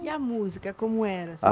E a música, como era? Ah